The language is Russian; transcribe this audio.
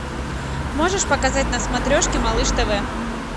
можешь показать на смотрежке малыш тв